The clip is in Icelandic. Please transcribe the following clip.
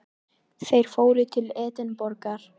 Þeir fóru til Edinborgar.